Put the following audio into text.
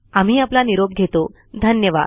आम्ही आपला निरॊप घेतो धन्यवाद